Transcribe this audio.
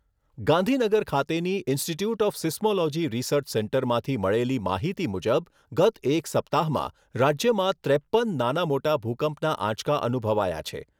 ગાંધીનગર ખાતેની institute of seismology research સેન્ટરમાંથી મળેલી માહિતી મુજબ ગત એક સપ્તાહમાં રાજ્યમાં ત્રેપ્પન નાના મોટા ભૂકંપના આંચકા અનુભવાયા છે.